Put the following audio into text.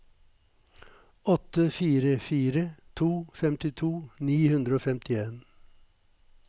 åtte fire fire to femtito ni hundre og femtien